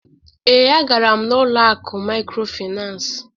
Ee, a gara m n'ụlọ akụ mikrofinas.